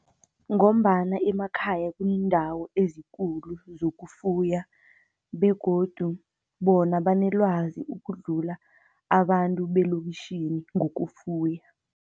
Ngombana emakhaya kuneendawo ezikulu zokufuya, begodu bona banelwazi ukudlula abantu beloktjhini ngokufuya.